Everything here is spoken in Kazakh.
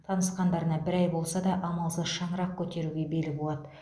танысқандарына бір ай болса да амалсыз шаңырақ көтеруге бел буады